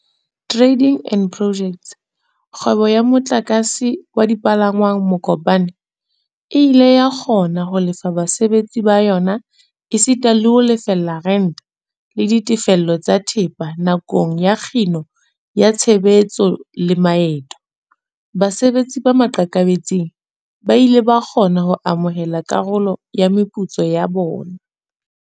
Tra-ding and Pojects, kgwebo ya motlakase wa dipalangwang Mokopane, e ile ya kgona ho lefa basebetsi ba yona esita le ho lefella rente, le ditefiso tsa thepa nakong ya ho kginwa ha tshebetso le maeto. Basebetsi ba maqakabetsing ba ile ba kgona ho amohela karolo ya meputso ya bona.